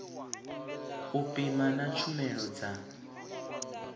u pima na tshumelo dza